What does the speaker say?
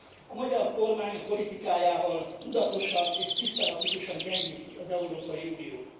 A magyar kormány a politikájával tudatosan és szisztematikusan gyengíti az Európai Uniót.